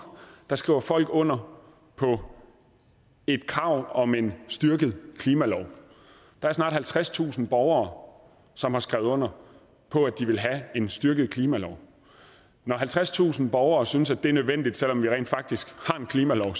skriver folk under på et krav om en styrket klimalov der er snart halvtredstusind borgere som har skrevet under på at de vil have en styrket klimalov når halvtredstusind borgere synes at det er nødvendigt selv om vi rent faktisk har en klimalov